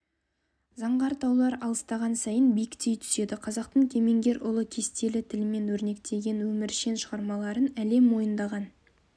заңғар таулар алыстаған сайын биіктей түседі қазақтың кемеңгер ұлы кестелі тілмен өрнектеген өміршең шығармаларын әлем мойындаған